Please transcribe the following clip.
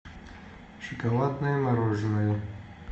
шоколадное мороженое